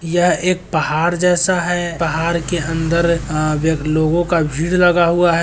यह एक पहाड़ जैसा है पहाड़ के अन्दर लोगो का भीड़ लगा हुआ है --